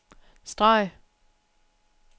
streg